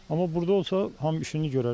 Amma burda olsa hamı işini görərdi.